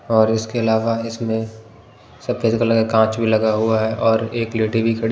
और इसके अलावा इसमें सफेद कलर का कांच भी लगा हुआ है और एक लेडी भी खड़ी--